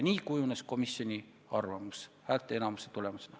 Nii kujuneski komisjoni arvamus, häälteenamuse tulemusena.